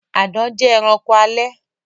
Àdán jẹ ẹranko alè.